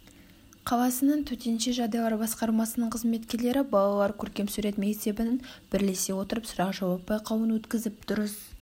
қаласының төтенше жағдайлар басқармасының қызметкерлері балалар көркем сурет мектебінің бірлесе отырып сұрақ-жауап байқауын өткізіп дұрыс